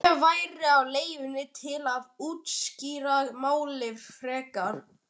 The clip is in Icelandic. Bréf væri á leiðinni til að útskýra málið frekar.